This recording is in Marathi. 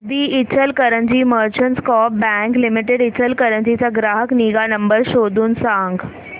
दि Ichalkaranji merchants coop bank limited Ichalkaranji चा ग्राहक निगा नंबर शोधून सांग